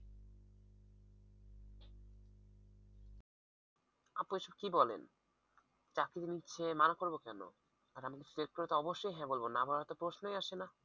আপু এসব কি বলেন চাকরি হলে মানা করবো কেন আর আমাকে যদি select করে অবশ্যই হ্যাঁ বলবো না বলার তো প্রশ্নই আসে না।